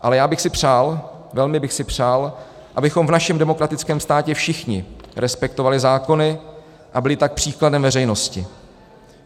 Ale já bych si přál, velmi bych si přál, abychom v našem demokratickém státě všichni respektovali zákony, a byli tak příkladem veřejnosti.